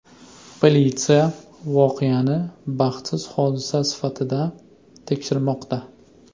Politsiya voqeani baxtsiz hodisa sifatida tekshirmoqda.